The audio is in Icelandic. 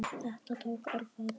Þetta tók örfáa daga.